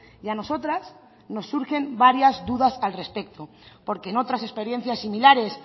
y a nosotras nos surgen varias dudas al respecto porque en otras experiencias similares